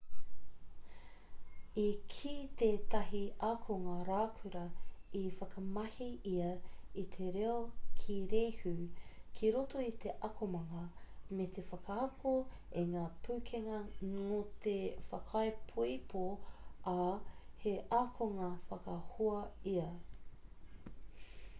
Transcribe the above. i kī tētahi akonga raukura i whakamahi ia i te reo kīrehu ki roto i te akomanga me te whaaako i ngā pūkenga note whakaipoipo ā he akonga whakahoa ia.'